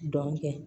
Dɔnke